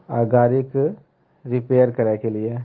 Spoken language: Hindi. अ गाड़ी के रिपेयर कराए के लिए।